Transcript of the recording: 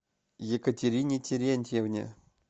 екатерине терентьевне